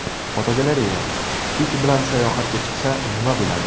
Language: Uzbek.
Fotogalereya: It bilan sayohatga chiqsa, nima bo‘ladi?